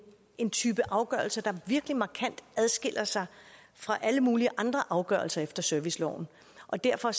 en type afgørelser der virkelig markant adskiller sig fra alle mulige andre afgørelser efter serviceloven og derfor